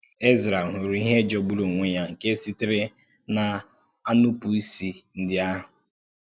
Ezrā hụ̀rù ihe jọ̀gbùrù onwe ya nke sitere n’ànụpụ̀ isi ndị̀ ahụ.